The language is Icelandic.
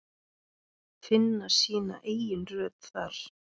Finna sína eigin rödd þar.